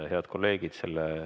Head kolleegid!